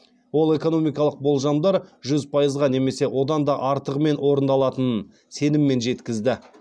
ол экономикалық болжамдар жүз пайызға немесе одан да артығымен орындалатынын сеніммен жеткізді